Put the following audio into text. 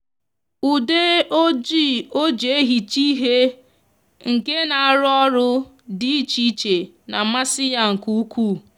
ude oji oji ehicha ihe nke n'aru oru di iche iche n'amasi ya nke ukuu